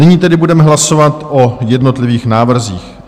Nyní tedy budeme hlasovat o jednotlivých návrzích.